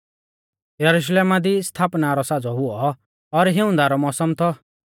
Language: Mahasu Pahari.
यरुशलेमा दी स्थापना रौ साज़ौ हुऔ और हिऊंदा रौ मौसम थौ